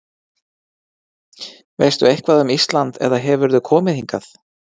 Veistu eitthvað um Ísland eða hefurðu komið hingað?